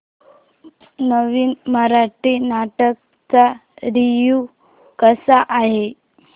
नवीन मराठी नाटक चा रिव्यू कसा आहे